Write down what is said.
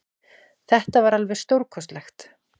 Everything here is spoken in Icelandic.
Þetta var alveg stórkostlegt